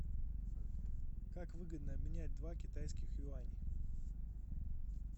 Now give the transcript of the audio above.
как выгодно обменять два китайских юаня